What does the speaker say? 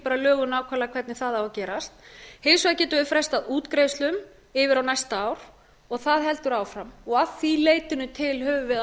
lögum nákvæmlega hvernig það á að gerast hins vegar getu við frestað útgreiðslum yfir á næsta ár og það heldur áfram og að því leytinu til höfum við